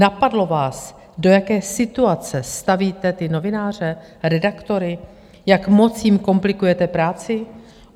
Napadlo vás, do jaké situace stavíte ty novináře, redaktory, jak moc jim komplikujete práci?